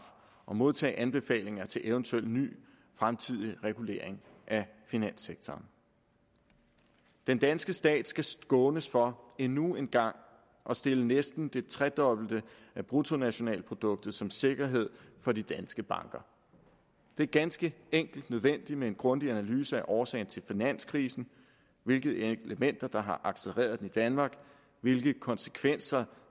og modtage anbefalinger til eventuel ny fremtidig regulering af finanssektoren den danske stat skal skånes for endnu en gang at stille næsten det tredobbelte af bruttonationalproduktet som sikkerhed for de danske banker det er ganske enkelt nødvendigt med en grundig analyse af årsagen til finanskrisen hvilke elementer der har accelereret den i danmark hvilke konsekvenser